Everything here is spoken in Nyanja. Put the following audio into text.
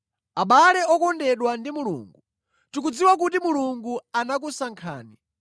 Abale okondedwa ndi Mulungu, tikudziwa kuti Mulungu anakusankhani,